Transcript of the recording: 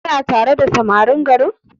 Kana tare da samarin garin?